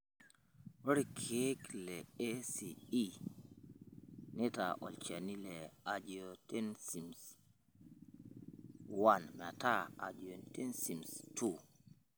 Ore ilkeek le ACE neitaa olchani le Angiotensin I metaa Angiotensin ii.